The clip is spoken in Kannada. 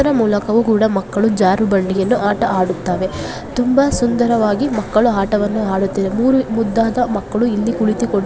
ಅದರ ಮೂಲಕವೂ ಕೂಡ ಮಕ್ಕಳು ಜಾರುಬಂಡೆ ಆಟವನ್ನು ಆಡುತ್ತಾರೆ ತುಂಬಾ ಸುಂದರವಾಗಿ ಮಕ್ಕಳು ಆಟವನ್ನು ಆಡುತ್ತಿದ್ದಾರೆ ಮೂರೂ ಮುದ್ದಾದ ಮಕ್ಕಳು ಇಲ್ಲಿ ಕುಳಿತುಕೊಂಡಿದ್ದಾರೆ.